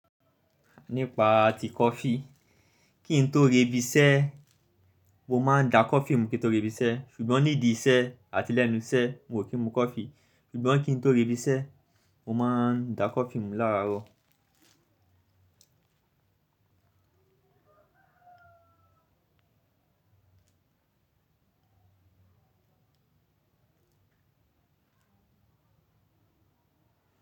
Nípa ti coffee, kí n tó re ibi iṣẹ́, mo máa ń dá coffee mú kí n tó re ibi iṣẹ́. Ṣùgbọ́n nídi iṣẹ́ àti lẹ́nu iṣẹ́ n ò kí n mu coffee. Ṣùgbọ́n kí n tó re ibi iṣẹ́ mo máa ń dá coffee mú láraaro.